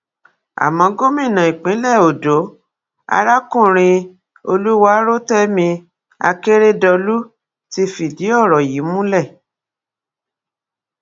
àmọ gómìnà ìpínlẹ ọdọ arákùnrin olùwárọtẹmi akérèdọlù ti fìdí ọrọ yìí múlẹ